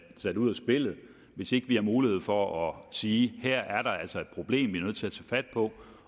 ud af spillet hvis ikke vi har mulighed for at sige at her er der altså et problem vi er nødt til at tage fat på